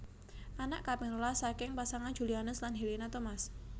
Anak kaping rolas saking pasangan Julianus lan Helena Thomas